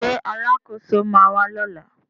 Ṣé Alákóso ma wà lọ́la?